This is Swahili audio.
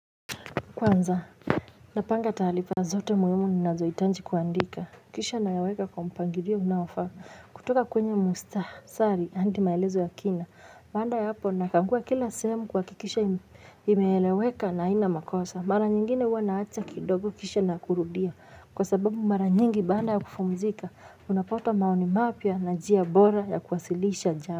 Kwanza na panga taalifa zote muhimu ni nazo hitanji kuandika kisha nayaweka kwa mpangilio unaofaa kutoka kwenye mustah sari hadi maelezo ya kina baada ya hapo nakagua kila sehemu kuha kikisha inaeleweka na haina makosa mara nyingine huwa naacha kidogo kisha na kurudia kwa sababu mara nyingi baada ya kufumzika unapata maoni mapia na njia bora ya kuwasilisha jamu.